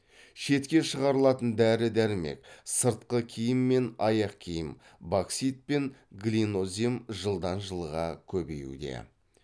шетке шығарылатын дәрі дәрмек сыртқы киім мен аяқкиім боксит пен глинозем жылдан жылға көбеюде